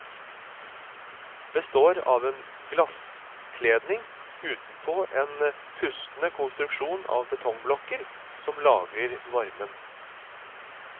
Består av en glasskledning utenpå en pustende konstruksjon av betongblokker som lagrer varmen.